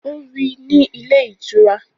Ó rí i ní ilé ìtura